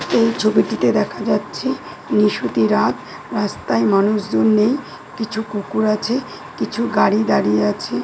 এই ছবিটিতে দেখা যাচ্ছে নিষুতি রাত রাস্তায় মানুষ জন নেই কিছু কুকুর আছে কিছু গাড়ি দাঁড়িয়ে আছে।